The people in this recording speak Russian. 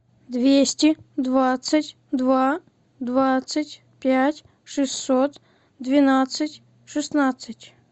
двести двадцать два двадцать пять шестьсот двенадцать шестнадцать